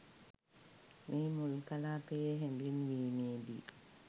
මෙහි මුල් කලාපයේ හැඳින්වීමේ දී